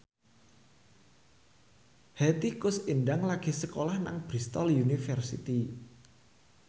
Hetty Koes Endang lagi sekolah nang Bristol university